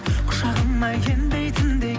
құшағыма енбейтіндей